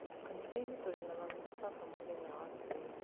kanitha-inĩ tũrĩ na mami na baba mũthenya wa Kiumia.